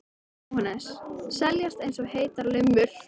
Jóhannes: Seljast eins og heitar lummur?